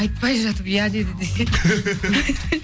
айтпай жатып иә деді десейшім